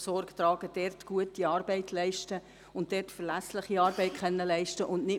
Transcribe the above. Wir müssen dort gute und verlässliche Arbeit leisten können.